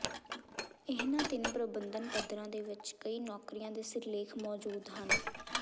ਇਹਨਾਂ ਤਿੰਨ ਪ੍ਰਬੰਧਨ ਪੱਧਰਾਂ ਦੇ ਵਿੱਚ ਕਈ ਨੌਕਰੀਆਂ ਦੇ ਸਿਰਲੇਖ ਮੌਜੂਦ ਹਨ